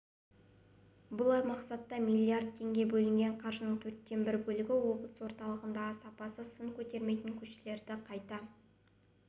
бұл мақсатқа миллиард теңге бөлінген қаржының төрттен бір бөлігі облыс орталығындағы сапасы сын көтермейтін көшелерді қайта